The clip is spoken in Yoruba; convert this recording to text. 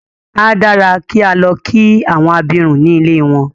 A dára kí á lọ kí àwọn abirùn ní ilée wọn.